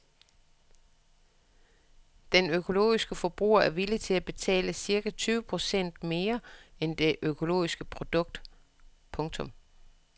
Den økologiske forbruger er villig til at betale cirka tyve procent mere for det økologiske produkt. punktum